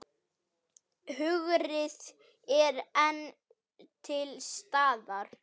Hungrið er enn til staðar.